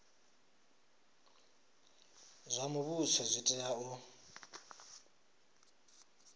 zwa muvhuso zwi tea u